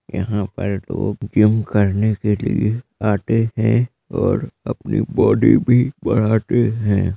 यहाँ पर लोग जिम करने के लिए आते है और अपनी बॉडी भी बनाते है